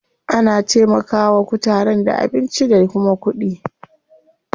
Ana taimaka wa kutaren da abinci da kuma kuɗi.